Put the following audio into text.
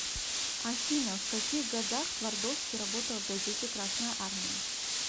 афина в каких годах твардовский работал в газете красная армия